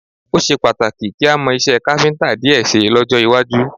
Ó ṣe pàtàkì kí a mọ iṣẹ́ káfíńtà díẹ̀ ṣe lọ́jọ́ iwájú